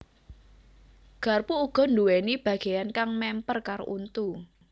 Garpu uga nduwèni bagéyan kang mèmper karo untu